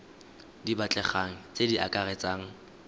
di batlegang tse di akaretsang